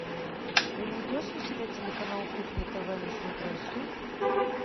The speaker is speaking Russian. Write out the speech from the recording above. ты найдешь у себя телеканал кухня тв на смотрешке